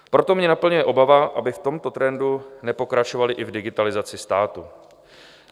Proto mě naplňuje obava, aby v tomto trendu nepokračovali i v digitalizaci státu.